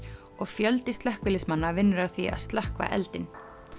og fjöldi slökkviliðsmanna vinnur að því að slökkva eldinn